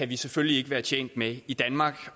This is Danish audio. vi selvfølgelig ikke være tjent med i danmark